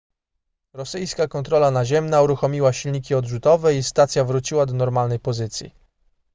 rosyjska kontrola naziemna uruchomiła silniki odrzutowe i stacja wróciła do normalnej pozycji